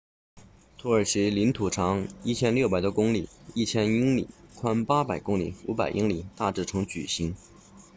土耳其领土长 1,600 多公里 1,000 英里宽800公里500英里大致呈矩形